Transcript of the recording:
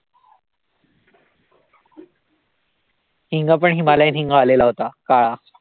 हिंग पण हिमालय हिंग वाला होता काळा